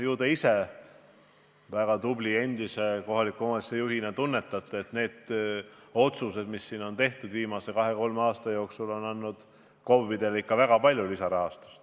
Ju te ise väga tubli endise kohaliku omavalitsuse juhina tunnetate, et need otsused, mis siin viimase kahe-kolme aasta jooksul on tehtud, on andnud KOV-idele ikka väga palju lisaraha.